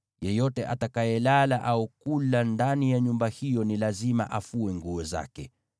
Yeyote atakayelala au kula ndani ya nyumba hiyo ni lazima afue nguo zake.